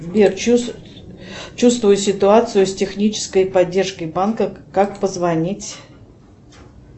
сбер чувствую ситуацию с технической поддержкой банка как позвонить